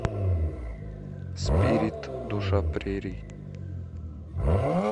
спирит душа прерий